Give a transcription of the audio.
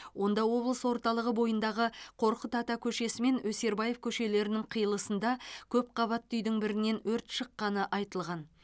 онда облыс орталығы бойындағы қорқыт ата көшесі мен өсербаев көшелерінің қиылысында көп қабатты үйдің бірінен өрт шыққаны айтылған